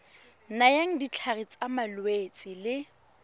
nayang ditlhare tsa malwetse le